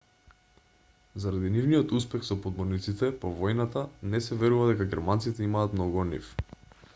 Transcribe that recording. заради нивниот успех со подморниците по војната не се верува дека германците имаат многу од нив